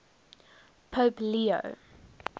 pope leo